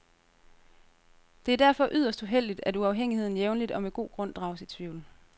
Det er derfor yderst uheldigt, at uafhængigheden jævnligt og med god grund drages i tvivl.